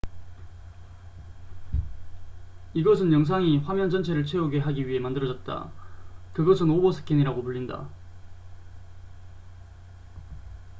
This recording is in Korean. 이것은 영상이 화면 전체를 채우게 하기 위해 만들어졌다 그것은 오버스캔이라고 불린다